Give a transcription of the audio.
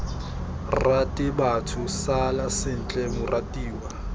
rate batho sala sentle moratiwa